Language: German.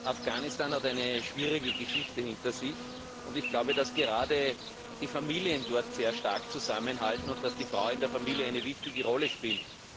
Afghanistan hat eine schwierige Geschichte hinter sich. Ich glaube, dass gerade die Familien dort sehr stark zusammenhalten und dass die Frau in der Familie eine wichtige Rolle spielt.